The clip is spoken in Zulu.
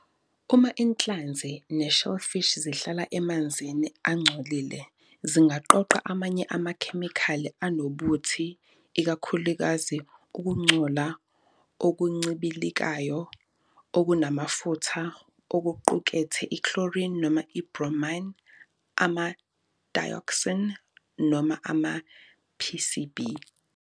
Uma inhlanzi ne-shellfish zihlala emanzini angcolile, zingaqoqa amanye amakhemikhali anobuthi, ikakhulukazi ukungcola okuncibilikayo okunamafutha okuqukethe i-chlorine noma i-bromine, ama- dioxin noma ama-PCB.